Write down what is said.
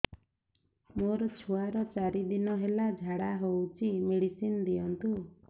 ମୋର ଛୁଆର ଚାରି ଦିନ ହେଲା ଝାଡା ହଉଚି ମେଡିସିନ ଦିଅନ୍ତୁ